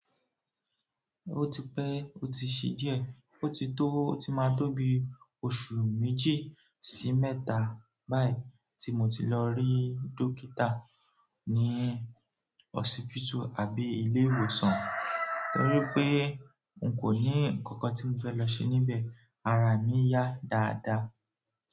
Ó ti pẹ́, ó ti ṣí díẹ̀, ó ti tó ó ti máa tó bi ọ̀su méjì sí mẹ́ta báyìí tí mo ti lọ ri dókítà ní hòsípítù àbí ilé ìwòsàn torí pé n kò ní ǹkankan tí mo fẹ́ lọ ṣe níbẹ̀, ara mi yà dáadáa.